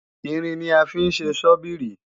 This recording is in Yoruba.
Irin ni a fí ń ṣe Sọ́bíìrì